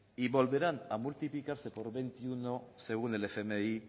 y volverán a multiplicarse por veintiuno según el fmi